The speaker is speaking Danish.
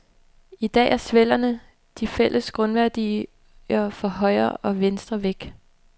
I dag er svellerne, de fælles grundværdier for højre og venstre, væk.